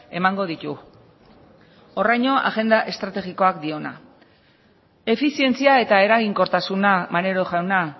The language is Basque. emango ditu horraino agenda estrategikoak diona efizientzia eta eraginkortasuna maneiro jauna